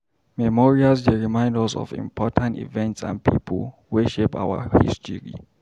Memorials dey remind us of important events and people wey shape our history.